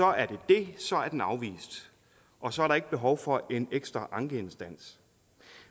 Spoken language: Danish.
er det det så er den afvist og så er der ikke behov for en ekstra ankeinstans